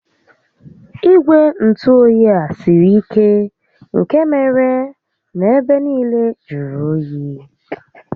Igwe ntụoyi a siri ike nkè mere na ebe nille jụrụ óyi